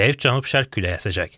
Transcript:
Zəif cənub-şərq küləyi əsəcək.